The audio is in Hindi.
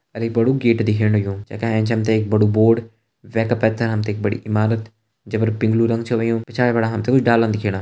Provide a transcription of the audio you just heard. अर एक बड़ु गेट दिखेण लग्युं जे का एंच हम तें एक बड़ु बोर्ड वे का पैथर हम तें एक बड़ी इमारत जे पर पिंग्लू रंग छ होयुं पिछाड़ी फणा हम तें कुछ डाला दिखेणा।